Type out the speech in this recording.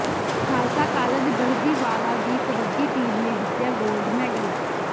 Khalsa college Garhdiwala ਦੀ kabaddi team ਨੇ ਜਿੱਤਿਆ ਗੋਲਡ ਮੈਡਲ